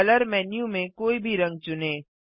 colour menu में कोई भी रंग चुनें